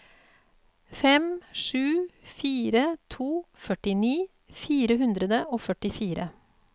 fem sju fire to førtini fire hundre og førtifire